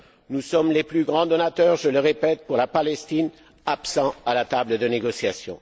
Nous sommes les plus grands donateurs je le répète pour la Palestine, mais nous sommes absents de la table des négociations.